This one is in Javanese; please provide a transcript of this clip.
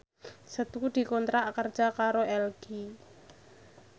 Setu dikontrak kerja karo LG